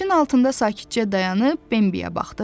Ağacın altında sakitcə dayanıb Bembiyə baxdı.